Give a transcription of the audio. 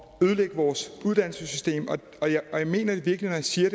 at ødelægge vores uddannelsessystem jeg mener det virkelig når jeg siger